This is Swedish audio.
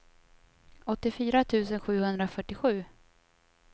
åttiofyra tusen sjuhundrafyrtiosju